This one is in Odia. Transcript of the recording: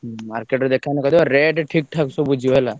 ହୁଁ market rate ସବୁ ଠିକ୍ ଠାକ ବୁଝିବ ହେଲା।